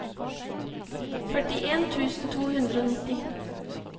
førtien tusen to hundre og nitti